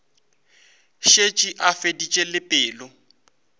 šetše a feditše le pelo